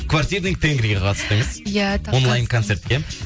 квартирный тенгриге қатыстыңыз иә онлайн коцертке